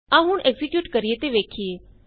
ਆਉ ਹੁਣ ਐਕਜ਼ੀਕਿਯੂਟ ਕਰੀਏ ਤੇ ਵੇਖੀਏ